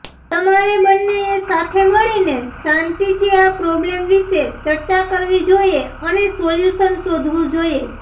તમારે બંનેએ સાથે મળીને શાંતિથી આ પ્રોબ્લેમ વિશે ચર્ચા કરવી જોઈએ અને સોલ્યૂશન શોધવું જોઈએ